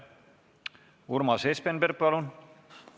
Urmas Espenberg, palun!